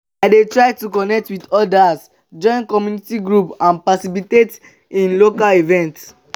i dey try to connect with odas join community groups and participate in local events.